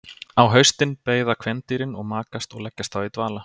Á haustin beiða kvendýrin og makast og leggjast þá í dvala.